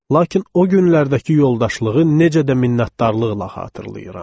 Lakin o günlərdəki yoldaşlığı necə də minnətdarlıqla xatırlayıram.